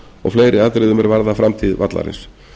og fleiri atriðum er varða framtíð vallarins